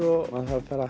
maður þarf bara